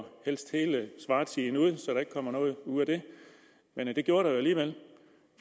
helst hele svartiden ud så der ikke kommer noget ud af det men det gjorde der jo alligevel